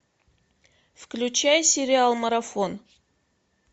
включай сериал марафон